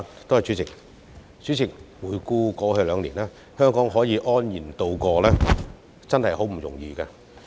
代理主席，回顧過去兩年，香港能安然度過，真的不易。